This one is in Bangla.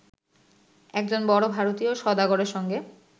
একজন বড় ভারতীয় সওদাগরের সঙ্গে